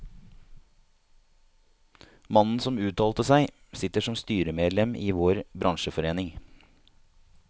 Mannen som uttalte seg, sitter som styremedlem i vår bransjeforening.